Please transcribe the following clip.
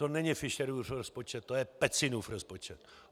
To není Fischerův rozpočet, to je Pecinův rozpočet.